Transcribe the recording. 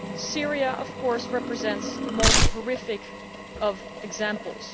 Syria, of course, represents the most horrific of examples.